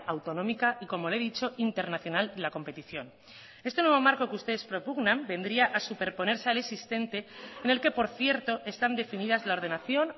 autonómica y como le he dicho internacional la competición este nuevo marco que ustedes propugnan vendría a superponerse al existente en el que por cierto están definidas la ordenación